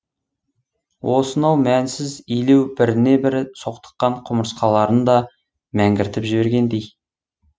осынау мәнсіз илеу біріне бірі соқтыққан құмырсқаларын да мәңгіртіп жібергендей